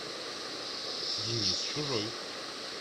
денис чужой